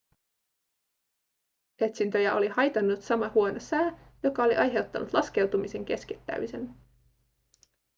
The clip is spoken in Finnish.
etsintöjä oli haitannut sama huono sää joka oli aiheuttanut laskeutumisen keskeyttämisen